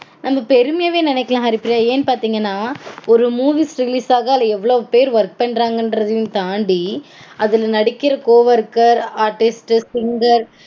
நம்ம பெருமையாவே நெனைக்கலாம் ஹரிப்பிரியா. ஏன்னு பாத்தீங்கனா ஒரு movies release ஆக அதுல எவ்ளோ பேர் work பண்றாங்கறதையும் தாண்டி அதுல நடிக்கற co-worker, artist, singer